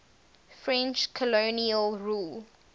french colonial rule